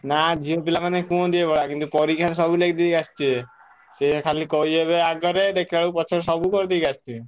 ନା ଝିଅ ପିଲାମାନେ କୁହନ୍ତି ଏଇଭଳିଆ କିନ୍ତୁ ପରୀକ୍ଷା ରେ ସବୁ ଲେଖି ଦେଇ ଆସିଥିବେ। ସେ ଖାଲି କହିହେବେ ଆଗେରେ ଦେଖିଲାବେଳକୁ ପଛରେ ସବୁ କରିଦେଇକି ଆସି ଥିବେ।